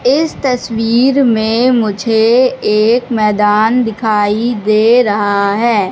इस तस्वीर में मुझे एक मैदान दिखाई दे रहा है।